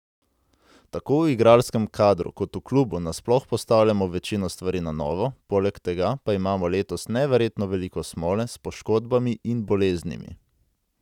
Tako v igralskem kadru kot v klubu nasploh postavljamo večino stvari na novo, poleg tega pa imamo letos neverjetno veliko smole s poškodbami in boleznimi.